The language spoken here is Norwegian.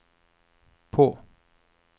på